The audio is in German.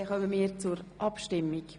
Wir kommen zur Abstimmung.